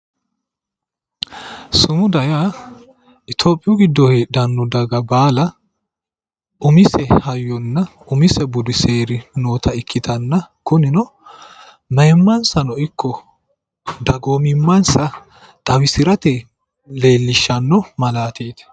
sumuda yaa itiyopiyu giddo heedhanno daga baala umise hayyonna umise budi seeri noota ikkitanna kunino mayiimansano ikko dagoomimmansa xawisirate leellishshanno malaateeti.